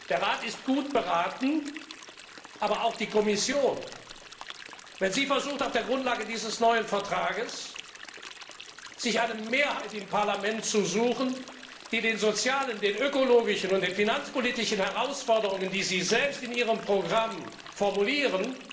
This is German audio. Der Rat ist gut beraten, aber auch die Kommission, wenn sie versuchen, sich auf der Grundlage dieses neuen Vertrags eine Mehrheit im Parlament zu suchen, die den sozialen, ökologischen und finanzpolitischen Herausforderungen, die sie selbst in ihren Programmen formulieren,